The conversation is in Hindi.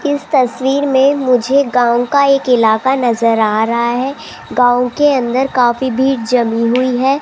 इस तस्वीर में मुझे गांव का एक इलाका नजर आ रहा है गांव के अंदर काफी भीड़ जमी हुई है।